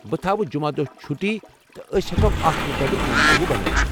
بہٕ تھاوٕ جمعہ دۄہ چُھٹی، تہٕ أسۍ ہٮ۪کو اتھ مطٲبق منصوبہٕ بنٲوتھ۔